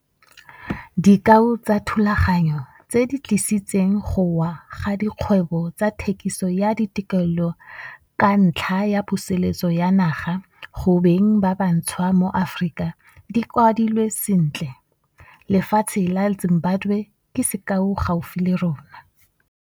Dikao tsa dithulaganyo tse di tlisitseng go wa ga dikgwebo tsa thekiso ya ditokeleo ka ntlha ya puseletso ya naga go beng ba bantshwa mo Afrika di kwadilwe sentle, lefatshe la Zimbabwe ke sekao gaufi le rona.